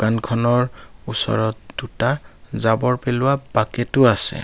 দোকানখনৰ ওচৰত দুটা জাৱৰ পেলোৱা বাকেটো আছে।